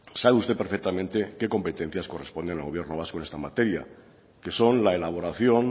sabe usted perfectamente qué competencias corresponden al gobierno vasco en esta materia que son la elaboración